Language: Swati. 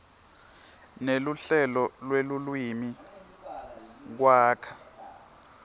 neluhlelo lwelulwimi kwakha